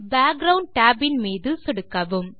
background tab மீது சொடுக்கவும்